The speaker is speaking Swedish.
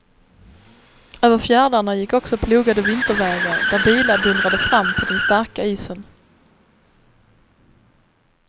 Över fjärdarna gick också plogade vintervägar där bilar dundrade fram på den starka isen.